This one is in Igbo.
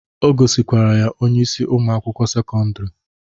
O gosikwara ya onyeisi ụmụ akwụkwọ sekọndrị